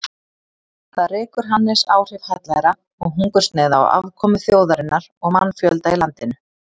Þar rekur Hannes áhrif hallæra og hungursneyða á afkomu þjóðarinnar og mannfjölda í landinu.